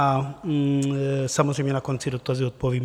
A samozřejmě na konci dotazy odpovím.